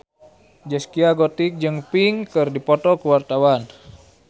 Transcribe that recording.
Zaskia Gotik jeung Pink keur dipoto ku wartawan